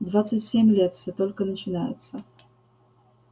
двадцать семь лет всё только начинается